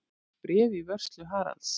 Bréf í vörslu Haralds.